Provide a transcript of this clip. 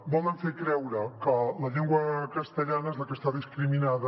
volen fer creure que la llengua castellana és la que està discriminada